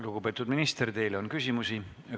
Lugupeetud minister, teile on küsimusi.